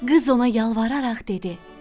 Qız ona yalvararaq dedi: